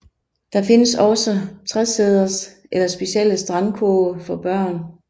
Der findes også tresæders eller specielle strandkurve for børn